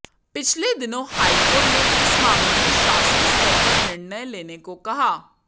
पिछले दिनों हाईकोर्ट ने इस मामले में शासन स्तर पर निर्णय लेने को कहा